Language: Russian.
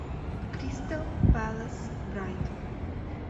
кристал пэлас брайтон